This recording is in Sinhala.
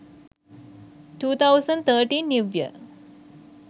2013 new year